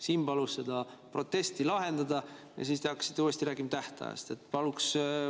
Siim palus seda protesti lahendada, aga te hakkasite uuesti rääkima tähtajast.